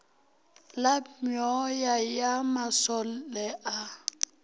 la meoya ya masole a